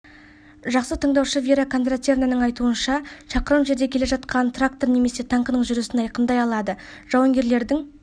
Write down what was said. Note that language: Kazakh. жақсы тыңдаушы вера кондратьевнаның айтуынша шақырым жерде келе жатқан трактор немесе танкінінің жүргісін айқындай алады жауынгерлердің